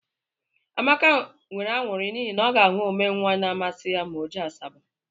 Amaka nwere añụrị n'ihi na ọ ga ahụ omee nwaanyị na amasi ya ma ọ jee Asaba.